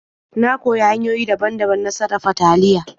Na koyi hanyoyi daban-daban na sarafa taliya.